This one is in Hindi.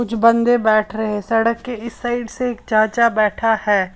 कुछ बंदे बैठ रहे हैं सड़क के इस साइड से एक चाचा बैठा है।